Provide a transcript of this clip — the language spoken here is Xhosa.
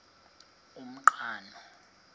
umqhano